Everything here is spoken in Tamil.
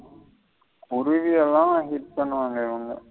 உருது எல்லாம் use பன்னுவாங்க இவுங்க.